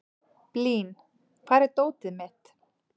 Blín, hvar er dótið mitt?